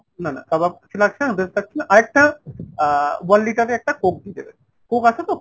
না না কাবাব কিছু লাগছেনা লাগছেনা। আর একটা আহ one liter এর একটা Coke দিয়ে দেবেন। coke আছে তো ?